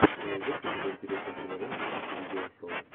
ты найдешь у себя интересную киноленту в духе видео шоу